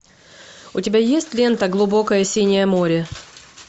у тебя есть лента глубокое синее море